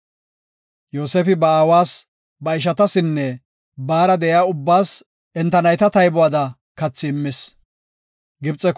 Yoosefi ba aawas, ba ishatasinne baara de7iya ubbaas enta nayta taybuwada kathi immis.